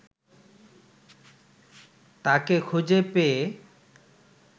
তাঁকে খুঁজে পেয়ে